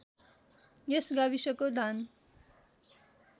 यस गाविसको धान